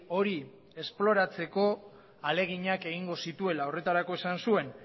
hori esploratzeko ahaleginak egingo zituela horretarako esan zuen